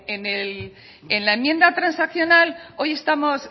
en la enmienda transaccional hoy estamos